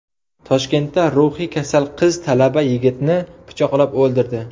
Toshkentda ruhiy kasal qiz talaba yigitni pichoqlab o‘ldirdi.